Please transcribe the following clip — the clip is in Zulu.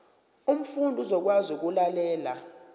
umfundi uzokwazi ukulalela